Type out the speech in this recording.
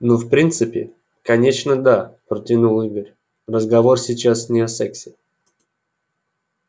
ну в принципе конечно да протянул игорь разговор сейчас не о сексе